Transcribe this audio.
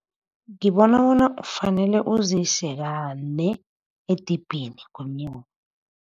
Ngibona bona ufanele uzise kane edibhini ngonyaka.